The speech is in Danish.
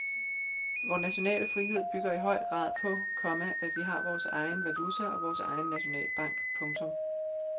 Vor nationale frihed bygger i høj grad på, komma at vi har vores egen valuta og vores egen nationalbank. punktum